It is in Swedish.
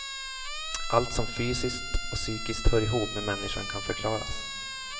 Allt som fysiskt och psykiskt hör ihop med människan kan förklaras.